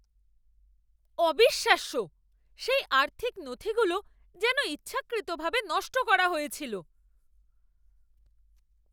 অবিশ্বাস্য! সেই আর্থিক নথিগুলো যেন ইচ্ছাকৃত ভাবে নষ্ট করা হয়েছিল!